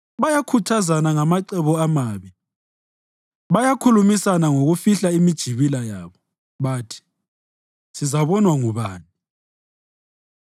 Bayakhuthazana ngamacebo amabi, bakhulumisana ngokufihla imijibila yabo; bathi, “Sizabonwa ngubani?”